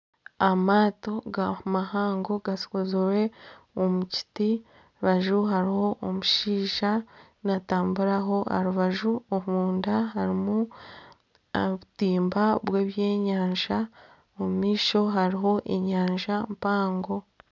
Amaato mahango gakozire omukiti aha rubaju hariho omushaija natamburaho aha rubaju. Omunda harimu obutimba bye bwenyanja omu maisho hariho enyanja mpango